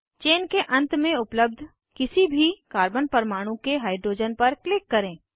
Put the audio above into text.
chain के अंत में उपलब्ध किसी भी कार्बन परमाणु के हाइड्रोजन पर क्लिक करें